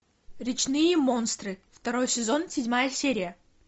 речные монстры второй сезон седьмая серия